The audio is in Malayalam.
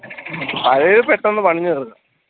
പഴയത് പെട്ടെന്ന് പണിഞ്ഞ തീർക്കും